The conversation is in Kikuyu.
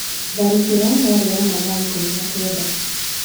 Tharĩkĩro yarĩ ya mathaa ikũmi na Kenda.